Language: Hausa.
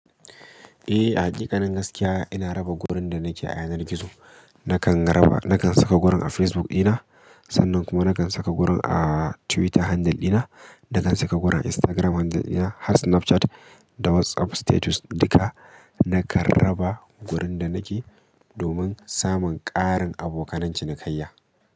Eh, a hakikanin gaskiya ina raba gurin da nake a yanar gizo. Nakan raba, nakan saka gurin a Facebook dina, sannan kuma nakan saka gurin a Twitter handle dina, da kan saka gurin a Instagram handle dina, har Snapchat da WhatsApp status duka nakan raba gurin da nake domin karin samun abokanan cinikaiya.